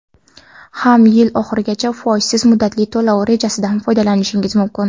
ham yil oxirigacha foizsiz muddatli to‘lov rejasidan foydalanishingiz mumkin.